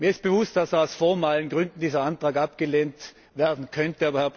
Mir ist bewusst, dass aus formalen Gründen dieser Antrag abgelehnt werden könnte.